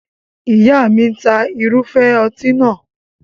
Ìyá mi ń ta irúfẹ́ ọtí nàá.